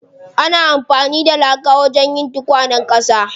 Ana amfani da laka wajen yin tukwanen ƙasa.